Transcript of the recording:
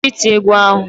Kwụsị iti égwú ahụ!